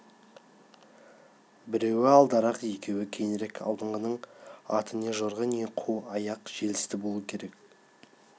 біреуі алдарақ екеуі кейінірек алдыңғының аты не жорға не қу аяқ желісті болу керек